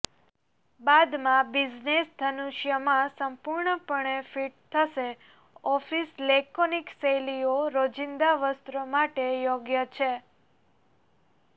બાદમાં બિઝનેસ ધનુષ્ય માં સંપૂર્ણપણે ફિટ થશે ઓફિસ લેકોનિક શૈલીઓ રોજિંદા વસ્ત્રો માટે યોગ્ય છે